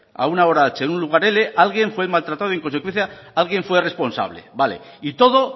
a una hora h en un lugar cincuenta alguien fue maltratado y en consecuencia alguien fue responsable vale y todo